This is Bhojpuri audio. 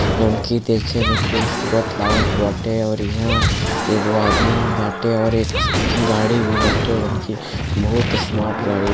यह की खूबसूरत लागल बाटे और यहाँ एक वो आदमी बाटे और एक गाड़ी भी बाटे बहुत ही स्मार्ट गाड़ी ह |